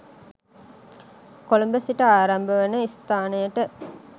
කොළඹ සිට ආරම්භ වන ස්ථානයට